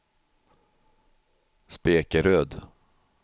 Spekeröd